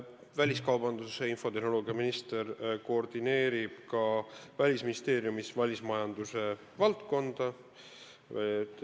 Väliskaubandus- ja infotehnoloogiaminister koordineerib ka Välisministeeriumis välismajandusvaldkonda.